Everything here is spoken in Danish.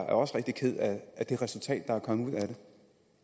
også rigtig ked af det resultat der er kommet ud af det